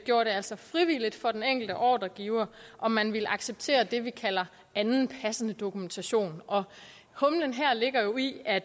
gjorde det altså frivilligt for den enkelte ordregiver om man ville acceptere det vi kalder anden passende dokumentation og humlen her ligger jo i at